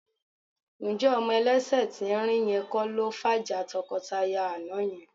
Ǹjẹ́ ọmọ ẹlẹ́sẹ̀ tín-ín-rín yẹn kọ́ ló fàjà tọkọtaya àná yẹn?